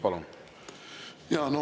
Palun!